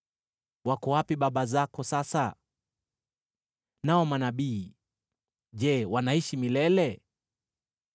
Wako wapi baba zako sasa? Nao manabii, je, wanaishi milele?